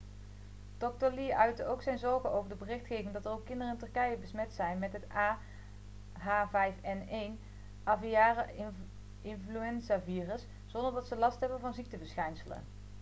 dokter lee uitte ook zijn zorgen over de berichtgeving dat er ook kinderen in turkije besmet zijn met het ah5n1 aviaire-influenzavirus zonder dat ze last hebben van ziekteverschijnselen